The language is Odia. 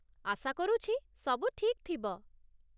ଆଶା କରୁଛି ସବୁ ଠିକ୍ ଥିବ ।